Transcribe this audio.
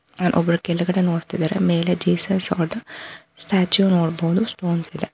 ಅಲ್ಲೊಬ್ರು ಕೆಳಗೆ ನೋಡ್ತಿದರೆ ಮೇಲೆ ಜೀಸಸ್ ಅದಸ್ಟ್ಯಾಚು ನೋಡಬಹುದು ಸ್ಟೋನ್ಸ್ ಅದ.